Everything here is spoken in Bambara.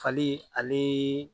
Fali ani